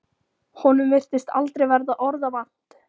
Honum virtist aldrei verða orða vant.